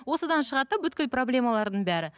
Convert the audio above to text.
осыдан шығады да проблемалардың бәрі